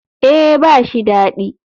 Eh ba shi dadi.